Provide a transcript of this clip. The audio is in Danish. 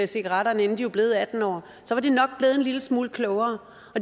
cigaretterne inden de var blevet atten år så var de nok blevet en lille smule klogere